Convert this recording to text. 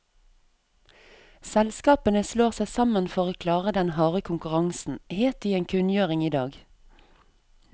Selskapene slår seg sammen for å klare den harde konkurransen, het det i en kunngjøring i dag.